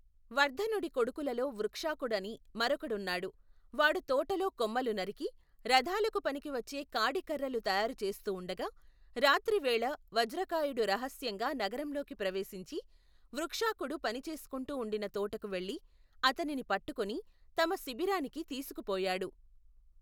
వర్ధనుడి కొడుకులలో వృక్షాకుడని మరొకడున్నాడు, వాడు తోటలో కొమ్మలు నరికి, రథాలకు పనికివచ్చే కాడి కర్రలు తయారుచేస్తూ ఉండగా, రాత్రివేళ వజ్రకాయుడు రహస్యంగా నగరంలోకి ప్రవేశించి, వృక్షాకుడు పని చేసుకుంటూ ఉండిన తోటకు వెళ్లి, అతనిని పట్టుకుని తమ శిబిరానికి తీసుకుపోయాడు.